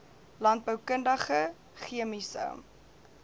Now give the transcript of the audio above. landboukundige c chemiese